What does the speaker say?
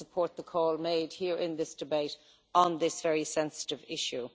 I support the call made here in this debate on this very sensitive issue.